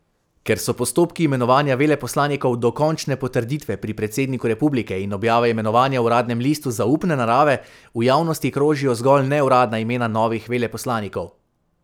Ker so postopki imenovanja veleposlanikov do končne potrditve pri predsedniku republike in objave imenovanja v uradnem listu zaupne narave, v javnosti krožijo zgolj neuradna imena novih veleposlanikov.